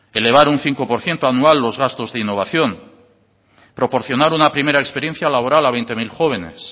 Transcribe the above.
elevar un cinco por ciento anual los gastos de innovación proporcionar una primera experiencia laboral a veinte mil jóvenes